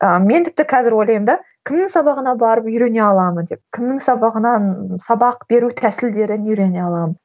ыыы мен тіпті қазір қазір ойлаймын да кімнің сабағына барып үйрене аламын деп кімнің сабағынан сабақ беру тәсілдерін үйрене аламын